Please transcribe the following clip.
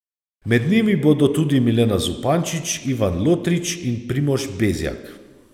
Med njimi bodo tudi Milena Zupančič, Ivan Lotrič in Primož Bezjak.